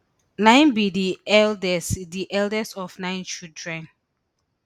na im be di eldest di eldest of nine children